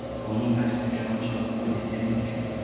bunu məhz peşmançılığımı bildirmək üçün eləyirəm.